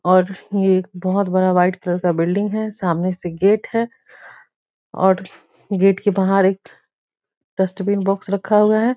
और ये एक बहुत बड़ा वाइट कलर का बिल्डिंग है सामने से गेट है और गेट के बाहर एक डस्टबीन बॉक्स रखा हुआ है ।